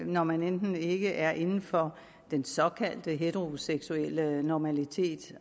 når man enten ikke er inden for den såkaldte heteroseksuelle normalitet